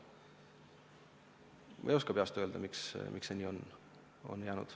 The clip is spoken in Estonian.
Ma ei oska peast öelda, miks see nii on jäänud.